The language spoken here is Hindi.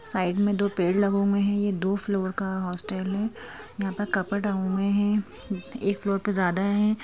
साइड में दो पेड़ लगे हुए हैं यह दो फ्लोर का हॉस्टल है यहां पर कपड़ डाए हैं एक फ्लोर पे ज्यादा है।